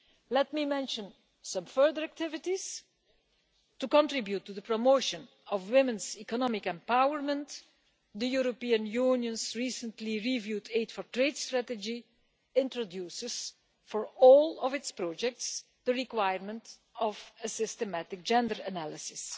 Let me mention some further activities to contribute to the promotion of women's economic empowerment the European Union's recently reviewed Aid for Trade strategy introduces, for all its projects, the requirement of a systematic gender analysis.